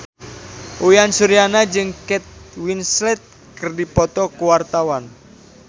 Uyan Suryana jeung Kate Winslet keur dipoto ku wartawan